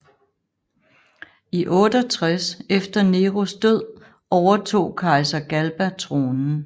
I 68 efter Neros død overtog kejser Galba tronen